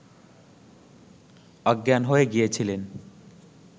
অজ্ঞান হয়ে গিয়েছিলেন